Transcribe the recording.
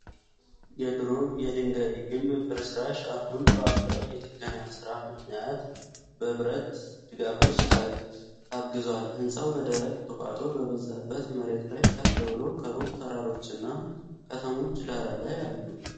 የድሮ የድንጋይ ግንብ ፍርስራሽ አሁን ባለው የጥገና ሥራ ምክንያት በብረት ድጋፎች ታግዟል። ሕንጻው በደረቅ፣ ቁጥቋጦ በበዛበት መሬት ላይ ከፍ ብሎ፣ ከሩቅ ተራሮችና ከተሞች ዳራ ላይ አሉ።